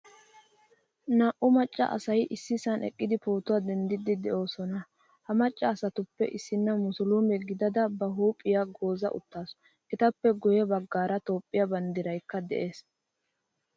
Naa'u macca asay issisan eqqidi pootuwaa denddidi deosona. Ha macca asatuppe issina musulume gidada ba huuphphiyaa gooza uttasu. Etappe guye baggaara toophphiyaa banddiraykka de'ees.